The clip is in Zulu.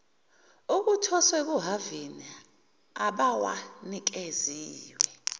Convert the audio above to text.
okuthoswe kuhhavini abawanikeziwe